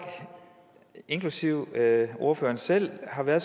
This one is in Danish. inklusive ordføreren selv har været